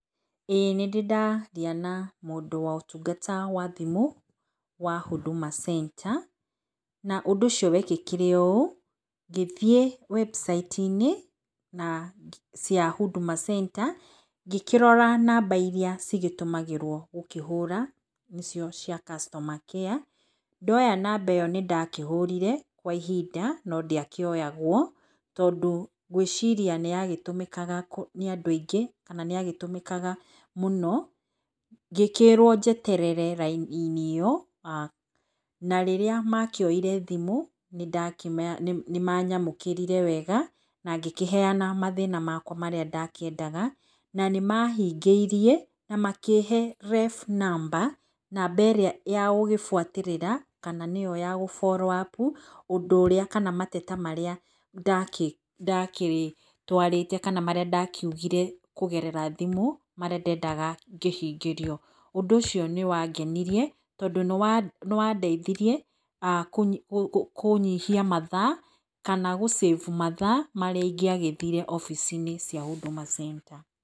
Ĩĩ nĩ ndĩndaria na mũndũ wa ũtungata wa thimũ wa huduma Center, na ũndũ ũcio wekĩkire ũ, ngĩthiĩ webucaiti -inĩ ya huduma Center ngĩkĩrora namba irĩa cigĩtũmagĩrwo gũkĩhũra, nĩ cio cia customer care. Ndoya namba ĩyo nĩndakĩhũrire kwa ihinda no ndĩakĩoyagwo, tondũ ngwĩciria nĩ ya gĩtũmĩkaga nĩ andũ aingĩ kana nĩ yagĩtũmĩkaga mũno ngĩkĩrwo njeterere raini -ĩnĩ ĩyo aah, na rĩrĩa makĩoire thimũ nĩ manyamũkĩrire wega na ngĩkĩheana mathĩna makwa marĩa ndakĩendaga na nĩmahingĩirie na makĩhe ref number, namba ĩrĩa ya gũgĩbuatĩrĩra kana nĩo ya gũ follow-up ũndũ ũrĩa kana mateta marĩa ndagĩtwarĩte kana ndakiugire kũgerera thimũ, marĩa ndendaga ngĩhingĩrio. Ũndũ ũcio nĩwangenirie, tondũ nĩwandeithirie kũnyihia mathaa kana gũcĩbu mathaa marĩa ingĩagĩthire obici-inĩ cia huduma Center.